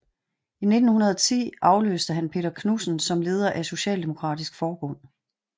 I 1910 afløste han Peter Knudsen som leder af Socialdemokratisk Forbund